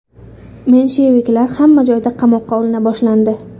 Mensheviklar hamma joyda qamoqqa olina boshlandi.